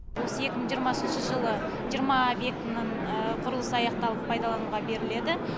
осы екі мың жиырмасыншы жылы жиырма объектінің құрылысы аяқталып пайдалануға беріледі